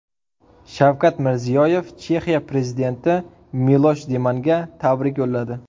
Shavkat Mirziyoyev Chexiya prezidenti Milosh Zemanga tabrik yo‘lladi.